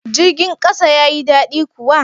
Jirgin kasa ya yi dadi kuwa?